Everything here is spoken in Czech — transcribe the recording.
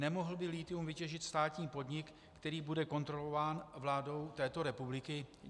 Nemohl by lithium vytěžit státní podnik, který bude kontrolován vládou této republiky?